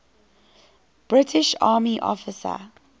british army officer